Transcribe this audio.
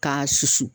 K'a susu